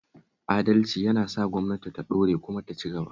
Adalci yana sa gwamnatin ta ɗore kuma ta ci gaba